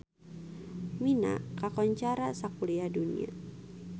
Mina kakoncara sakuliah dunya